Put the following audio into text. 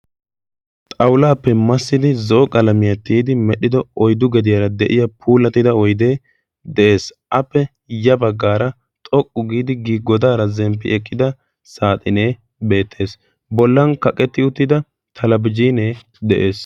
xaulaappe massidi zoo qalamiyaa tiyidi medhdhido oydu gediyaara de7iya puulatida oidee de7ees appe ya baggaara xoqqu giidi gii godaara zemppi eqqida saaxinee beettees bollan kaqetti uttida talabjinee de7ees